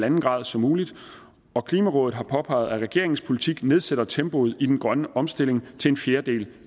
en grad som muligt og klimarådet har påpeget at regeringens politik nedsætter tempoet i den grønne omstilling til en fjerdedel